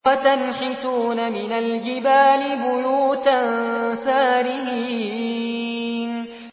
وَتَنْحِتُونَ مِنَ الْجِبَالِ بُيُوتًا فَارِهِينَ